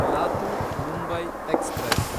Latur Mumbai express